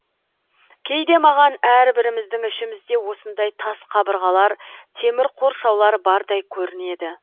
кейде маған әрбіріміздің ішімізде осындай тас қабырғалар темір қоршаулар бардай көрінеді